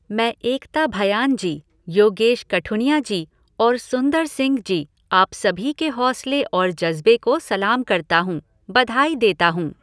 मैं एकता भयान जी, योगेश कठुनिया जी और सुंदर सिंह जी आप सभी के हौसले और ज़ज्बे को सलाम करता हूँ, बधाई देता हूँ।